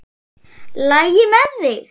LAGI MEÐ ÞIG?